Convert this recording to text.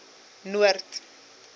noord